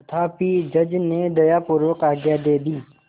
तथापि जज ने दयापूर्वक आज्ञा दे दी